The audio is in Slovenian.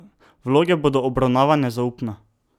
Vloge bodo obravnavane zaupno.